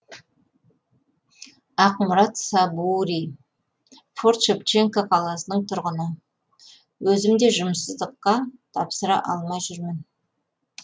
ақмұрат сабури форт шевченко қаласының тұрғыны өзім де жұмыссыздыққа тапсыра алмай жүрмін